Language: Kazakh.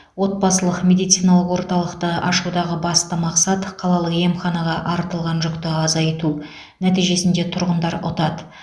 отбасылық медициналық орталықты ашудағы басты мақсат қалалық емханаға артылған жүкті азайту нәтижесінде тұрғындар ұтады